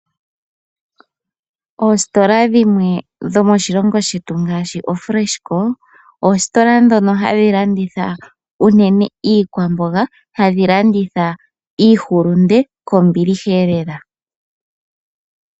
Oositola dhimwe dhomoshilongo shetu ngaashi ooFreshco, oositola ndhono ha dhi landitha unene iikwamboga, hadhi landitha iihulunde kombiliha lela.